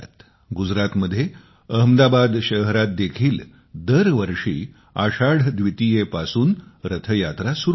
गुजरातमध्ये अहमदाबाद शहरात देखील दर वर्षी आषाढ द्वितीयेपासून रथयात्रा सुरु होते